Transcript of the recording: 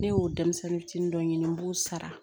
Ne y'o denmisɛnnin fitinin dɔ ɲini n b'u sara